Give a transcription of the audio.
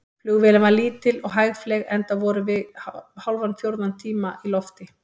Flugvélin var lítil og hægfleyg, enda vorum við hálfan fjórða tíma í lofti.